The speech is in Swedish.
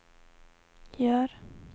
gör